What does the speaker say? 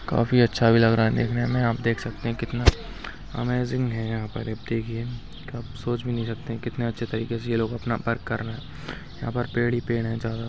काफी अच्छा भी लग रहा है देखने में आप देख सकते है कितना अमेज़िंग है यहाँ पर देखिये आप सोच भी नहीं सकते कितने अच्छे तरीके से ये लोग अपना वर्क कर रहे है यहाँ पर पेड़ ही पेड़ है जा--